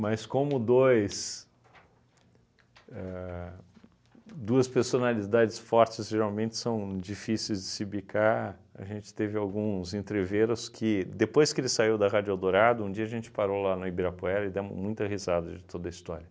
como dois ahn duas personalidades fortes geralmente são difíceis de se bicar, a gente teve alguns entreveros que, depois que ele saiu da Rádio Eldorado, um dia a gente parou lá no Ibirapuera e demos muita risada de toda história.